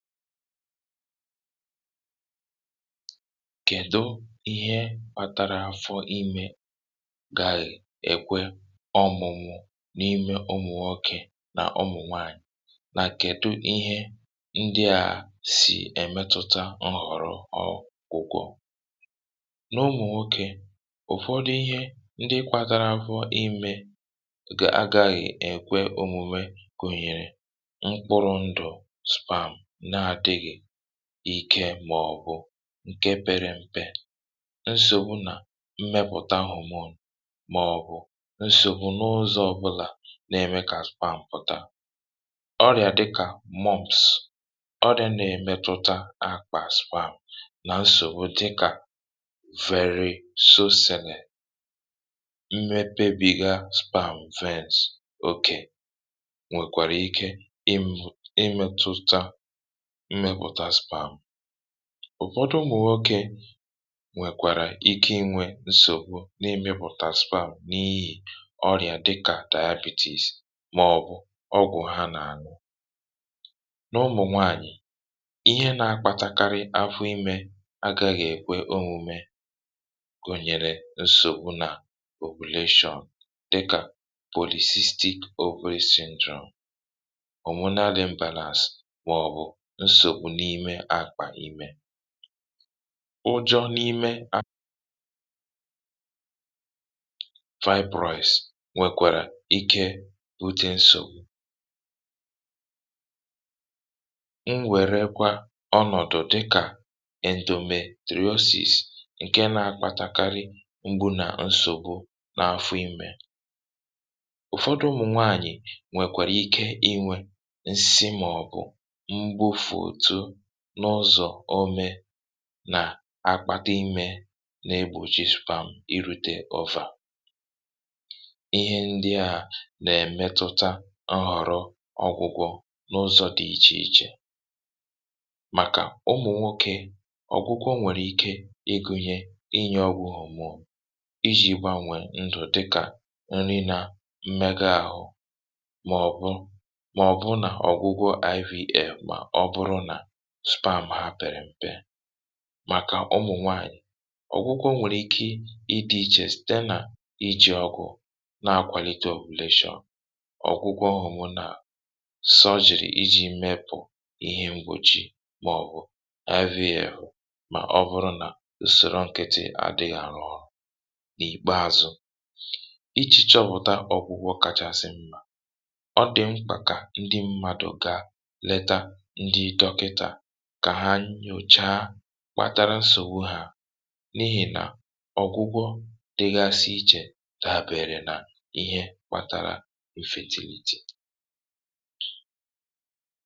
kèdo ihe kpatara fọ imė gàghị̀ èkwe ọmụ̀mụ̀ n’ime ụmụ̀wọ̀ okè nà ọmụ̀nwaànyị̀? nà kèdo ihe ndịà sì èmètụ̀ta ọrụ, ọrụ ǹkwùkwọ̇ n’ụmụ̀wọ̀ okè? ùfọdụ ihe ndị kwatara fọ imė gà agaghị̇ èkwe òmùmè gùnyèrè ike, màọ̀bụ̀ ǹke pere m̀pe, nsògbu nà mmepụ̀ta nhòmòn, màọ̀bụ̀ nsògbu n’ụzọ̇ ọbụlà, na-eme kà sperm pụ̀ta. ọrịà dịkà mobs, ọrịà na-emetụta a kpà sperm, nà nsògbu dịkà veri sosìnè. mmepebiga sperm vins òkè nwekwàrà ike imù, imetụta ụ̀fọdụ m nwokė, nwekwàrà ike inwė nsògbu n’imėpụ̀talis palu̇, n’ihì ọrịà dịkà dikatà, ibis, màọ̀bụ̀ ọgwụ̀ ha nà-àñụ. n’ụmụ̀ nwaànyị̀, ihe na-akpȧtakarị afụ imė agaghị̇ èkwe omume gụ̀nyere nsògbu nà okolation, dịkà polyphastic okurịchedròm, ụjọ̇ n’ime akpà imė, fibroids, nwekwàrà ike bute nsògbu. nwekwàrà ọnọ̀dụ̀ dịkà indomitaosis, nke na-akpatakarị mgbu nà nsògbu n’afụ imė. ụ̀fọdụ ụmụ̀nwaànyị̀ nwekwàrà ike inwė n’ụzọ̀ ome nà akpà dị imė, na-egbùjisipam iri̇teovà. ihe ndị à nà-èmetutà nhọrọ̇ ọgwụgwọ n’ụzọ̇ dị ichè ichè. màkà ụmụ̀ nwokė, ọ̀gwụgwọ nwèrè ike ịgụ̇nyė inyė ọgwụ̀ ọ̀mụ̀, iji̇ gbanwè ndụ̀ dịkà nri nà mmega àhụ, màọ̀bụ̀, màọ̀bụ̀ nà ọgwụgwọ ipv̇ supà à, mà ha pèrè m̀pe. màkà ụmụ̀nwaànyị̀, ọ̀gwụgwọ nwèrè ike ịdị̇ ichè, sìte nà iji̇ ọgwụ na-akwàlite ọ̀gwụlịshọ, ọ̀gwụgwọ ọhụrụ nà sojìrì iji̇ mepụ̀ ihe m̀gbòchi, màọ̀bụ̀ na- avi yȧ èhù. mà ọ bụrụ nà usòrọ ǹkịtị àdịghị̇ àrụ ọrụ̇, n’ìkpeazụ, ichì chọpụ̀ta ọgwụgwọ kàchasị mmȧ. ọ dị mkà kà ndị mmadù ga kpàtara nsògbu ha, n’ihì nà ọ̀gwụgwọ dịgȧsi ichè dàbia èrè, nà ihe kpȧtȧrȧ fatịlitè.